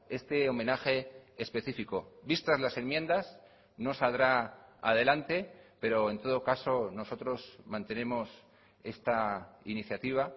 este homenaje específico vistas las enmiendas no saldrá adelante pero en todo caso nosotros mantenemos esta iniciativa